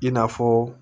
I n'a fɔ